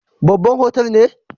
Babban otal ne?